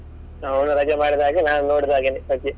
ಅವನು ರಜೆ ಮಾಡಿದ ಹಾಗೇನೆ ನಾನು ನೋಡಿದ ಹಾಗೇನೆ .